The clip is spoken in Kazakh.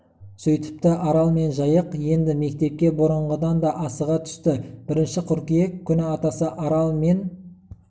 сөйтіпті арал мен жайық енді мектепке бұрынғыдан да асыға түсті бірінші қыркүйек күні атасы арал мен